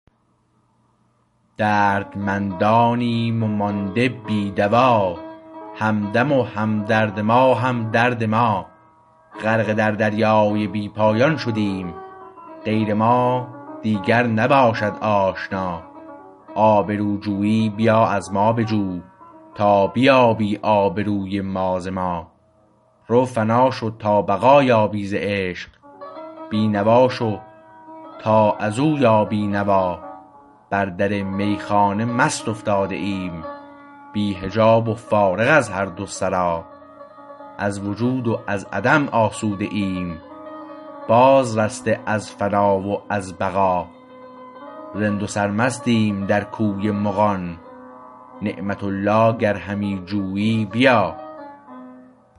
دردمندانیم و مانده بی دوا همدم و همدرد ما هم درد ما غرق در دریای بی پایان شدیم غیر ما دیگر نباشد آشنا آبرو جویی بیا از ما بجو تا بیابی آبروی ما ز ما رو فنا شو تا بقا یابی ز عشق بینوا شو تا ازو یابی نوا بر در میخانه مست افتاده ایم بی حجاب و فارغ از هر دو سرا از وجود و از عدم آسوده ایم باز رسته از فنا و از بقا رند و سرمستیم در کوی مغان نعمت الله گر همی جویی بیا